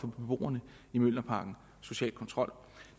beboerne i mjølnerparken social kontrol